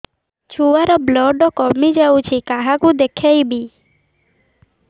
ଛୁଆ ର ବ୍ଲଡ଼ କମି ଯାଉଛି କାହାକୁ ଦେଖେଇବି